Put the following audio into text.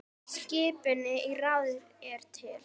Skipun í ráðið er til